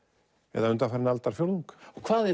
eða undanfarinn aldarfjórðung hvað er